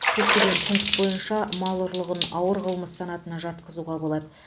көптеген пункт бойынша мал ұрлығын ауыр қылмыс санатына жатқызуға болады